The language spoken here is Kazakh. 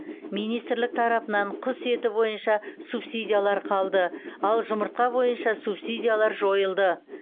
министрлік тарапынан құс еті бойынша субсидиялар қалды ал жұмыртқа бойынша субсидиялар жойылды